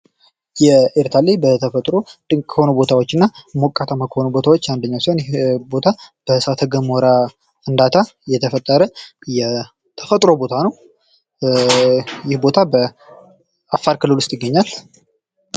የኤርታሌ በተፈጥሮ ድንቅ ከሆኑ ቦታዎችና ሞቃታማ ከሆኑ ቦታዎች አንደኛው ሲሆን ይህ ቦታ በእሳተገሞራ ፍንዳታ የተፈጠረ የተፈጥሮ ቦታ ነው። ይህ ቦታ በአፋር ክልል ውስጥ ይገኛል።